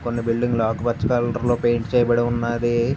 కొన్ని బిల్డింగ్ లు ఆకుపచ్చ కలర్ లో పెయింట్ చెయ్యబడి ఉన్నది.